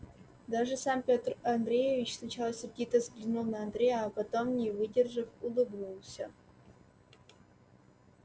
даже сам петр андреевич сначала сердито взглянул на андрея а потом не выдержав улыбнулся